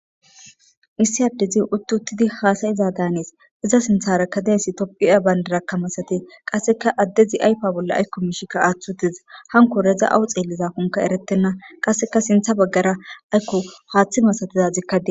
Issi addezin utti uttidi haasayiza daanees iza sintharakadeesi topphiya bayndarakkamasate qasseka addezi aypa bolla aykko mishikka aaththu uteza hanko redza awu xeliza kunka erettenna qasseka sintha baggara aykko haaththi masatizazikkadie.